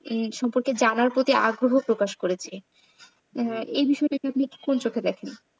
ধ্বনির সম্পর্কে জানার জন্য আগ্রহ প্রকাশ করেছে। এ বিষয় টিকে কে আপনি কোন চোখে দেখেন?